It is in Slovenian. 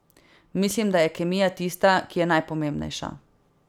Mislim, da je kemija tista, ki je najpomembnejša ...